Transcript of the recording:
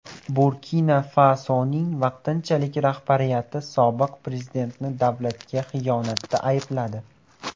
Burkina-Fasoning vaqtinchalik rahbariyati sobiq prezidentni davlatga xiyonatda aybladi.